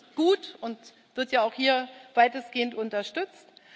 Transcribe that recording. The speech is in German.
Das ist gut und wird ja auch hier weitestgehend unterstützt.